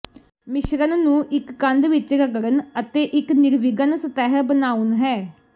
ਮਿਸ਼ਰਣ ਨੂੰ ਇੱਕ ਕੰਧ ਵਿੱਚ ਰਗੜਨ ਅਤੇ ਇੱਕ ਨਿਰਵਿਘਨ ਸਤਹ ਬਣਾਉਣ ਹੈ